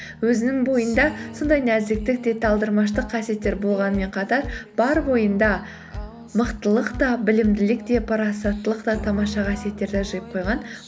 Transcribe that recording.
өзінің бойында сондай нәзіктік те талдырмаштық қасиеттер болғанымен қатар бар бойында мықтылық та білімділік те парасаттылық та тамаша қасиеттерді жиып қойған